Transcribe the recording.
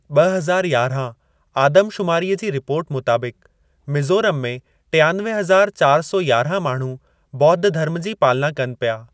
ॿ हज़ार यारहां आदम शुमारीअ जी रिपोर्ट मुताबिक़, मिज़ोरमु में टियानवे हज़ार चार सौ यारहां माण्हू ॿोद्ध धर्म जी पालना कनि पिया।